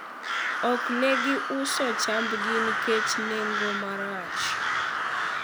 ok ne gi uso chambgi nikech nengo marach